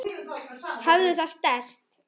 Hafðu það sterkt.